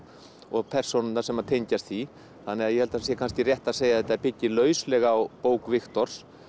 og persónurnar sem tengjast því þannig að ég held að það sé kannski rétt að segja að þetta byggi lauslega á bók Viktors